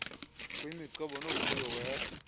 kuyimigcobo novuyo wehla